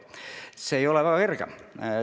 See ei ole väga kerge.